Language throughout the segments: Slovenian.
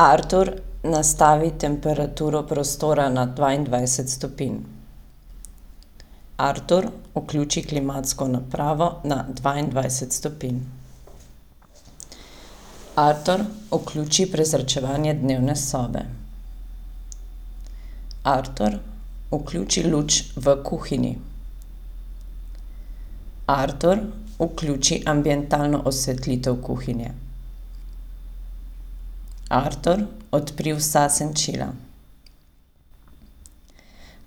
Artur, nastavi temperaturo prostora na dvaindvajset stopinj. Artur, vključi klimatsko napravo na dvaindvajset stopinj. Artur, vključi prezračevanje dnevne sobe. Artur, vključi luč v kuhinji. Artur, vključi ambientalno osvetlitev kuhinje. Artur, odpri vsa senčila.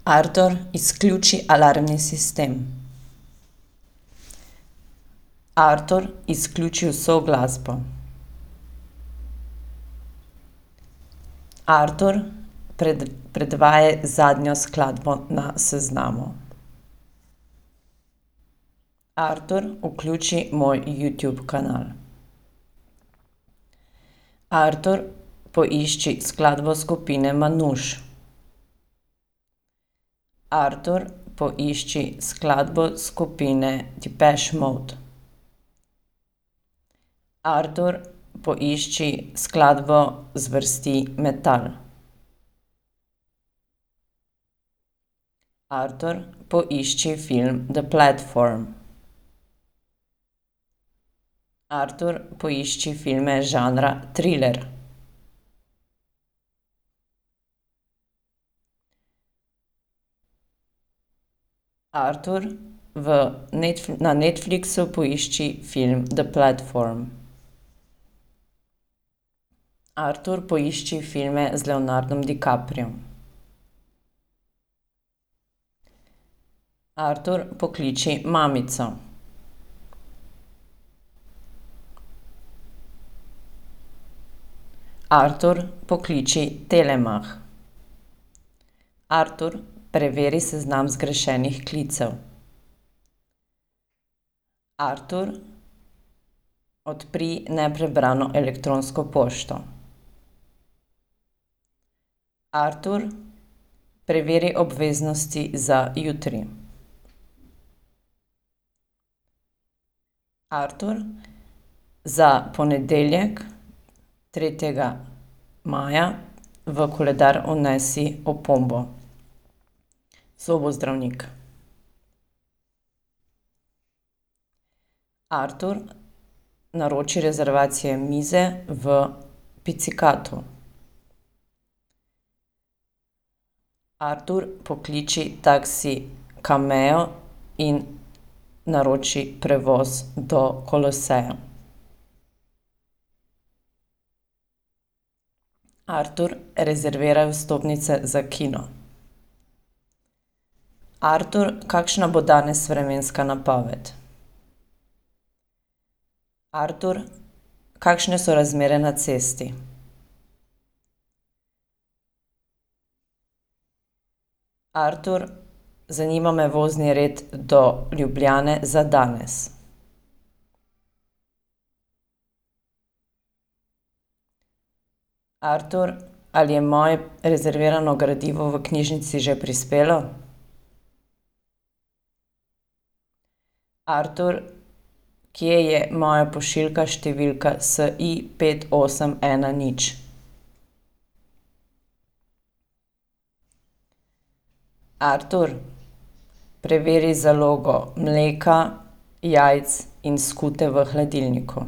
Artur, izključi alarmni sistem. Artur, izključi vso glasbo. Artur, predvajaj zadnjo skladbo na seznamu. Artur, vključi moj Youtube kanal. Artur, poišči skladbo skupine Manouche. Artur, poišči skladbo skupine Depeche mode. Artur, poišči skladbo zvrsti metal. Artur, poišči film The platform. Artur, poišči filme žanra triler. Artur, v na Netflixu poišči film The platform. Artur, poišči filme z Leonardom DiCapriom. Artur, pokliči mamico. Artur, pokliči Telemach. Artur, preveri seznam zgrešenih klicev. Artur, odpri neprebrano elektronsko pošto. Artur, preveri obveznosti za jutri. Artur, za ponedeljek tretjega maja v koledar vnesi opombo: zobozdravnik. Artur, naroči rezervacije mize v Picikatu. Artur, pokliči taksi Cammeo in naroči prevoz do Koloseja. Artur, rezerviraj vstopnice za kino. Artur, kakšna bo danes vremenska napoved? Artur, kakšne so razmere na cesti? Artur, zanima me vozni red do Ljubljane za danes. Artur, ali je moje rezervirano gradivo v knjižnici že prispelo? Artur, kje je moja pošiljka številka SI pet, osem, ena, nič? Artur, preveri zalogo mleka, jajc in skute v hladilniku.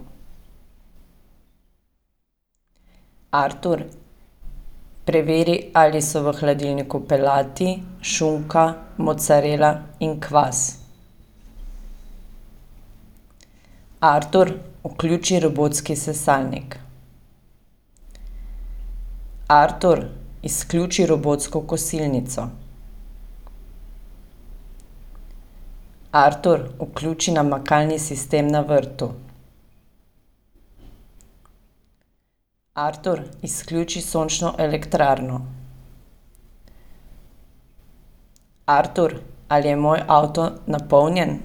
Artur, preveri, ali so v hladilniku pelati, šunka, mocarela in kvas. Artur, vključi robotski sesalnik. Artur, izključi robotsko kosilnico. Artur, vključi namakalni sistem na vrtu. Artur, izključi sončno elektrarno. Artur, ali je moj avto napolnjen?